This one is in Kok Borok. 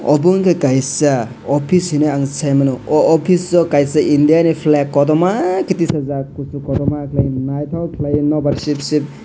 obo wngka kaisa office hinui saimano o office o kaisa india ni flag kodoma ke tisajak kosok kodoma kelai naitok kelai nobar ship ship.